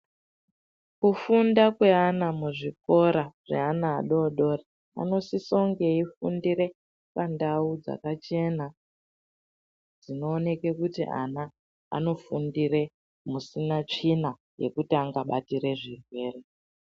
Kufunda kweana muzvikora zveana adodori anosisa kunge eifundira pandau dzakachena dzinooneka kuti ana anofundira musina tsvina mekuti angabatira zvirwere.